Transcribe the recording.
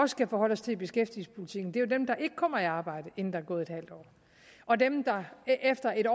skal forholde os til i beskæftigelsespolitikken er jo dem der ikke kommer i arbejde inden der er gået halvt år og dem der efter en